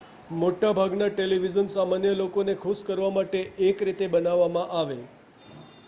મોટા ભાગના ટેલિવિઝન સામાન્ય લોકોને ખુશ કરવા માટે એક રીતે બનાવવામાં આવે